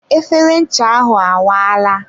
efere ncha ahụ awaala.